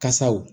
Kasaw